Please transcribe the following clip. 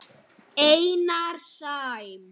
Einar Sæm.